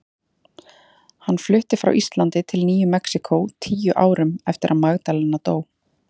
Hann flutti frá Íslandi til Nýju Mexíkó tíu árum eftir að Magdalena dó.